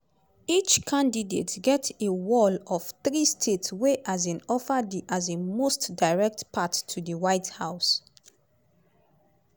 each candidate get a "wall" of three states wey um offer di um most direct path to di white house.